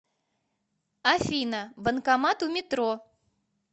афина банкомат у метро